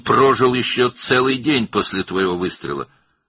O, sənin atəşindən sonra daha bir tam gün yaşadı.